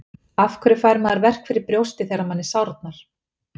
Af hverju fær maður verk fyrir brjóstið þegar manni sárnar?